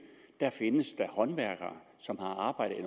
her findes der håndværkere som har arbejdet i